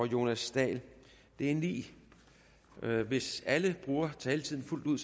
jonas dahl det er ni spørgere hvis alle bruger taletiden fuldt ud